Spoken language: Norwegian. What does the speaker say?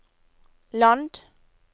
land